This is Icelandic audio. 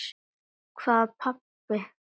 Hvað pabbi?